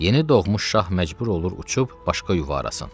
Yeni doğmuş şah məcbur olur uçub başqa yuva arasın.